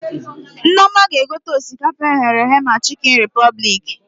Nneoma ga egote osikapa e ghere eghe na Chikin Repụblik